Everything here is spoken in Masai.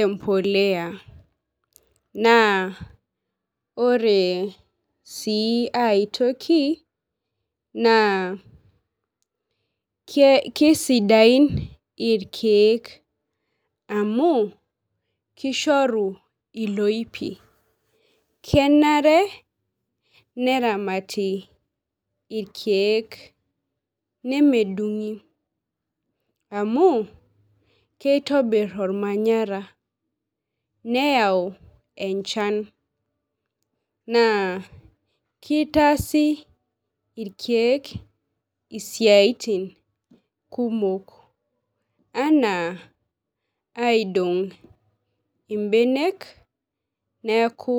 empoleya naa ore sii aitoki ekeisidain irkeek amu keishori iloipi kenare neramate irkeek nemedungi amu kitobir ormanyara. Neyau enchan naa kitasi irkeek isiatin kumok enaa aidong' irkeek neyaku.